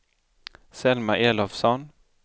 Selma Elofsson